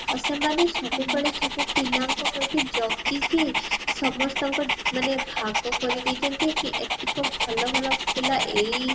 ଆଉ ସେମାନେ ସବୁବେଳେ ସବୁ ପିଲାଙ୍କ ପ୍ରତି ଜଗିକି ସମସ୍ତଙ୍କ ମାନେ ଭାଗ କରି ଦେଇଛନ୍ତି କି ଏତିକ ଭଲ ଭଲ ପିଲା ଏଇ